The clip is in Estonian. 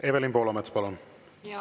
Evelin Poolamets, palun!